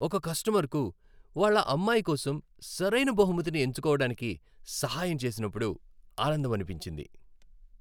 ఒక కస్టమర్కు వాళ్ళ అమ్మాయి కోసం సరైన బహుమతిని ఎంచుకోవడానికి సహాయం చేసినప్పుడు ఆనందమనిపించింది.